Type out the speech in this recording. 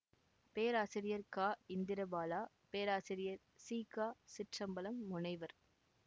பேராசிரியர் கா இந்திரபாலா பேராசிரியர் சி க சிற்றம்பலம் முனைவர்